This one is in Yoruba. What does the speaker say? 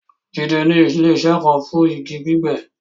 Jídẹ̀ ni ilẹ̀-iṣẹ̀ kàn fún igi gbígbẹ́